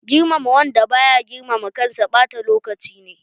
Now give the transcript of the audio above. Girmama wanda baya girmama kansa ɓata lokaci ne.